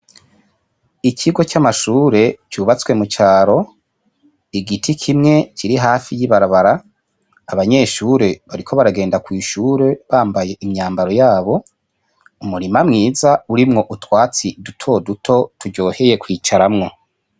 Ikigo c'amashure cubatswe mucaro, igiti kimwe kiri hafi y'ibarabara, abanyeshure bariko baragenda kw'ishure bambaye imyambaro yabo, umurima mwiza urimwo utwatsi dutoduto turyoheye kwicaramwo.